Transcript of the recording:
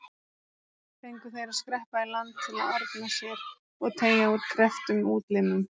Fengu þeir að skreppa í land til að orna sér og teygja úr krepptum útlimum.